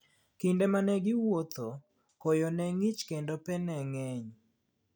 Kinde ma ne giwuotho, koyo ne ng'ich, kendo pe ne ng'eny.